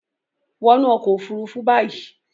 wọnú ọkọ òfurufú bayí!